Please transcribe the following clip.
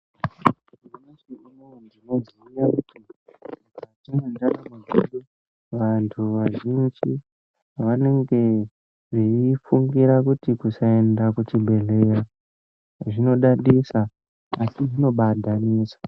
Antu azhinji anenge eifunga kuti kusaenda kuzvibhedhlera zvinodadisa asi zvinenge zveibaadhanisa.